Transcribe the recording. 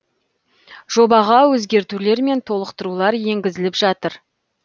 жобаға өзгертулер мен толықтырулар енгізіліп жатыр